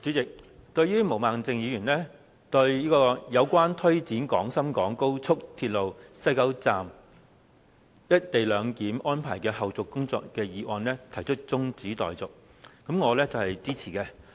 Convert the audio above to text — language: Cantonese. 主席，對於毛孟靜議員就"有關推展廣深港高速鐵路西九龍站'一地兩檢'安排的後續工作的議案"提出辯論中止待續的議案，我是支持的。